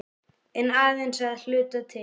En aðeins að hluta til.